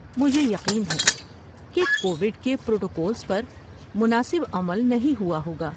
مجھے یقین ہے کہ کووڈ کے پروٹوکولز پر مناسب عمل نہیں ہوا ہوگا۔